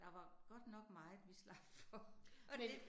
Der var godt nok meget, vi slap for, og det